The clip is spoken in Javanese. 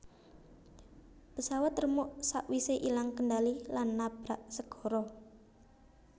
Pesawat remuk sak wise ilang kendali lan nabrak segara